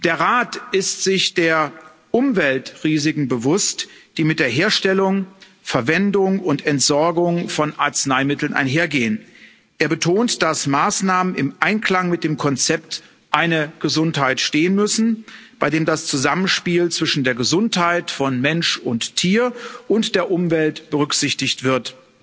Der Rat ist sich der Umweltrisiken bewusst, die mit der Herstellung, Verwendung und Entsorgung von Arzneimitteln einhergehen. Er betont, dass Maßnahmen im Einklang mit dem Konzept Eine Gesundheit stehen müssen, bei dem das Zusammenspiel zwischen der Gesundheit von Mensch und Tier und der Umwelt berücksichtigt wird.